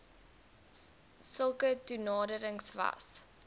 sulke toenaderings was